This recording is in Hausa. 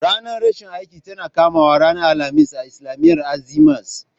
Ranar rashin aiki tana kamawa ranar alhamis a islamiyyar Azima's